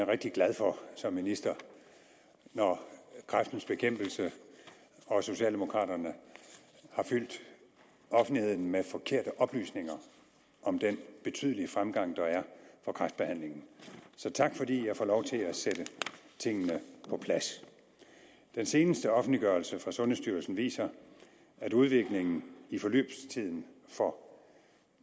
er rigtig glad for som minister når kræftens bekæmpelse og socialdemokraterne har fyldt offentligheden med forkerte oplysninger om den betydelige fremgang der er for kræftbehandlingen så tak fordi jeg får lov til at sætte tingene på plads den seneste offentliggørelse fra sundhedsstyrelsen viser at udviklingen i forløbstiden for